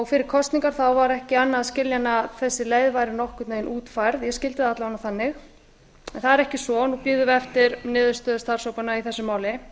fyrir kosningar var ekki annað að skilja en að þessi leið væri nokkurn veginn útfærð ég skildi það alla vega þannig en það er ekki svo nú bíðum við eftir niðurstöðu starfshópanna í þessu máli